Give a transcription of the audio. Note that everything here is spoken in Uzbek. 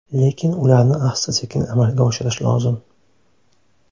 Lekin ularni asta-sekin amalga oshirish lozim.